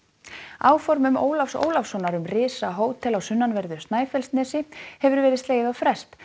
áformum Ólafs Ólafssonar um risahótel á sunnanverðu Snæfellsnesi hefur verið slegið á frest